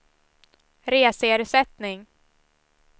reseersättning